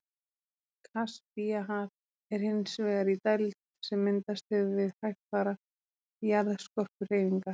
Kaspíahaf er hins vegar í dæld sem myndast hefur við hægfara jarðskorpuhreyfingar.